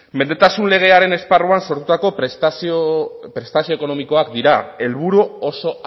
mendetasun legearen esparruan sortutako prestazio ekonomikoak dira helburu oso